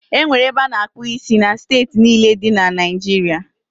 E nwere ebe a na-akpụ isi na steeti niile dị na Naịjiria.